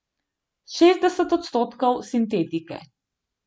Šestdeset odstotkov sintetike.